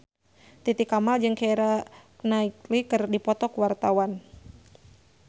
Titi Kamal jeung Keira Knightley keur dipoto ku wartawan